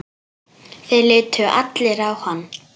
Þeir litu allir á hann.